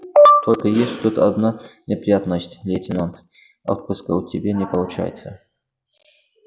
только есть тут одна неприятность лейтенант отпуска у тебя не получается